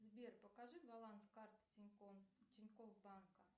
сбер покажи баланс карты тинькофф банка